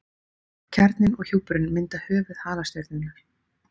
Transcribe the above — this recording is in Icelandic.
Kjarninn og hjúpurinn mynda höfuð halastjörnunnar.